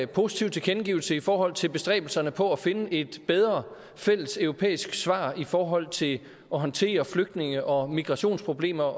positiv tilkendegivelse i forhold til bestræbelserne på at finde et bedre fælles europæisk svar i forhold til at håndtere flygtninge og migrationsproblemer